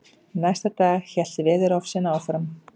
Næsta dag hélt veðurofsinn áfram.